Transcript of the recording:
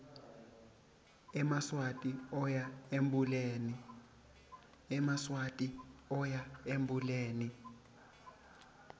emaswati oya embuleni